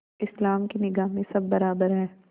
इस्लाम की निगाह में सब बराबर हैं